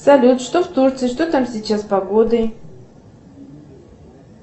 салют что в турции что там сейчас с погодой